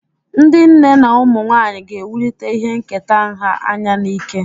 Ndị nne na ụmụ nwanyị ga-ewulite ihe nketa nha anya na ike.